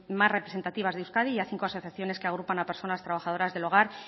más representativas de euskadi y a cinco asociaciones que agrupan a personas trabajadoras del hogar